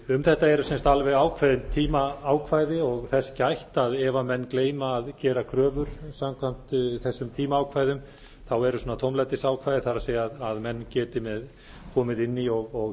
um þetta eru alveg ákveðin tímaákvæði og þess gætt að ef menn gleyma að gera kröfur samkvæmt þessum tímaákvæðum eru tómlætisákvæði það er að menn geti komið inn í og